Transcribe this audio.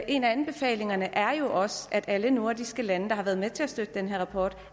en af anbefalingerne er jo også at alle nordiske lande der har været med til at støtte den her rapport